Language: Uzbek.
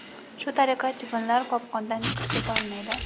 Shu tariqa, chivinlar qopqondan chiqib keta olmaydi.